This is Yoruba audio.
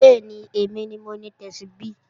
Bẹ́ẹ̀ni, èmi ni mo ni Tẹ́súbí